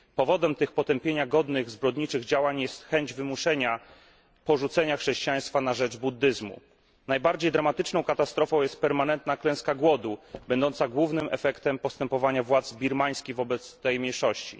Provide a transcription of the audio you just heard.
Powodem tych zbrodniczych działań godnych potępienia jest chęć wymuszenia porzucenia chrześcijaństwa na rzecz buddyzmu. Najbardziej dramatyczną katastrofą jest permanentna klęska głodu, będąca głównym efektem postępowania władz birmańskich wobec tej mniejszości.